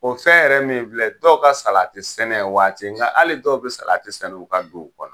O fɛn yɛrɛ min filɛ dɔw ka salati sɛnɛ waati nka hali dɔw be salati sɛnɛ u ka duw kɔnɔ.